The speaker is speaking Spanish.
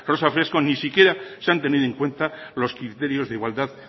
rosa fresno ni siquiera se han tenido en cuenta los criterios de igualdad